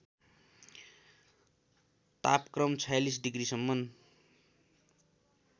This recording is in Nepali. तापक्रम ४६ डिग्रिसम्म